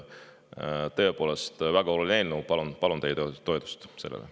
Tõepoolest, väga oluline eelnõu, palun teie toetust sellele.